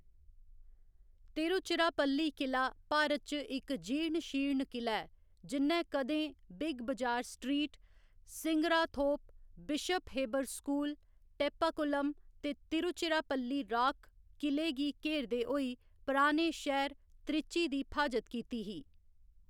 तिरुचिराप्पल्ली किला भारत च इक जीर्ण शीर्ण किला ऐ जि'न्नै कदें Big Bazaar Street, Singarathope, Bishop Heber School, Teppakulam ते तिरुचिराप्पल्ली राक किले गी घेरदे होई पराने शहर त्रिची दी फ्हाजत कीती ही।